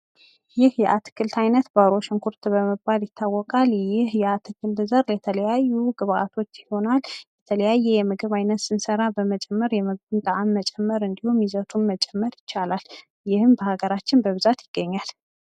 ይህ የአትክልት አይነት ባሮ ሽንኩርት በመባል ይታወቃል። ይህ የአትክልት ዘር ለተለያዩ ግብአቶች ይሆናል። የተለያየ የምግብ አይነት ስንሰራ በመጨመር የምግቡን ጠዓም መጨመር እንዲሁም ይዘቱን መጨመር ይቻላል። ይህም በሀገራችን በብዛት ይገኛል።